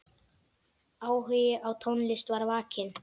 Áhugi á tónlist var vakinn.